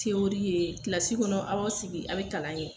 ye kilasi kɔnɔ a' b'aw sigi aw be kalan ŋɛ